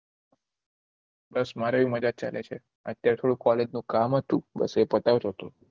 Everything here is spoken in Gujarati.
બસ મારે ય મજા ચાલે છે અત્યારે થોડું કોલેજનું કામ હતું બસ એ પતાવતો હતો